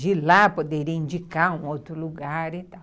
de lá poderia indicar um outro lugar e tal.